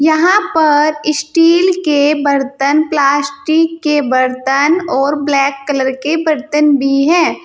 यहां पर स्टील के बर्तन प्लास्टिक के बर्तन और ब्लैक कलर के बर्तन भी है।